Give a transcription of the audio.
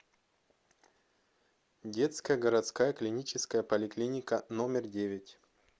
детская городская клиническая поликлиника номер девять